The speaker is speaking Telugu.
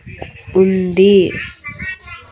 ఉంది.